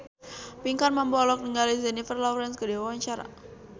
Pinkan Mambo olohok ningali Jennifer Lawrence keur diwawancara